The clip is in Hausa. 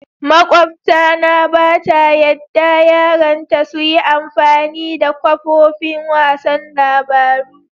Makwabta na ba ta yadda yaran ta su yi amfani da kafofin wasan labaru.